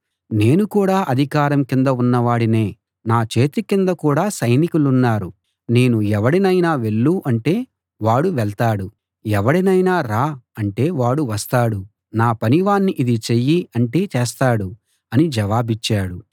నేను కూడా అధికారం కింద ఉన్నవాడినే నా చేతి కింద కూడా సైనికులున్నారు నేను ఎవడినైనా వెళ్ళు అంటే వాడు వెళ్తాడు ఎవడినైనా రా అంటే వాడు వస్తాడు నా పనివాణ్ణి ఇది చెయ్యి అంటే చేస్తాడు అని జవాబిచ్చాడు